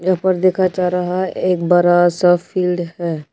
यहां पर देखा जा रहा है एक बड़ा सा फील्ड है।